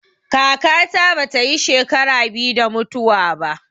Kaka ta bata yi shekara biyu da mutuwa ba